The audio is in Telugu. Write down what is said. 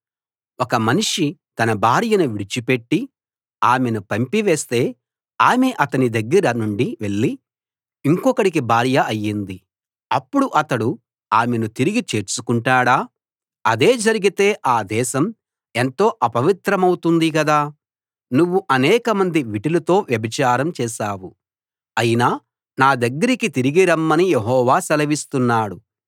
ఒక మనిషి తన భార్యను విడిచిపెట్టి ఆమెను పంపి వేస్తే ఆమె అతని దగ్గర నుండి వెళ్ళి ఇంకొకడికి భార్య అయ్యింది అప్పుడు అతడు ఆమెను తిరిగి చేర్చుకుంటాడా అదే జరిగితే ఆ దేశం ఎంతో అపవిత్రమవుతుంది కదా నువ్వు అనేకమంది విటులతో వ్యభిచారం చేశావు అయినా నా దగ్గరికి తిరిగి రమ్మని యెహోవా సెలవిస్తున్నాడు